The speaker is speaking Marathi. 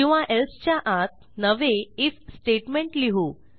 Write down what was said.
किंवा एल्से च्या आत नवे आयएफ स्टेटमेंट लिहू